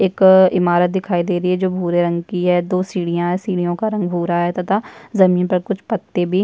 एक इमारत दिखाई दे रही है जो भूरे रंग की है दो सीढियां है सीढ़ियों का रंग भूरा है तथा जमीन पर कुछ पत्ते भी --